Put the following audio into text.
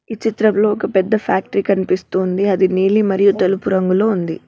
ఈ చిత్రంలో ఒక పెద్ద ఫ్యాక్టరీ కనిపిస్తుంది అది నీలి మరియు తెలుపు రంగులో ఉంది.